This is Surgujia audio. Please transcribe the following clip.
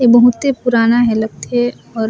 ऐ बहुते पुराना हे लगथे और--